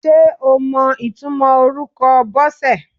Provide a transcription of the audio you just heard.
Ṣé o mọ ìtumò orúkọ Bọ́sẹ̀?